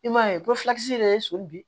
I m'a ye ko filakisi yɛrɛ ye soli bi